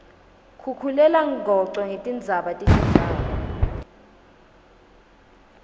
khukhulelangoco netindzaba tetendzawo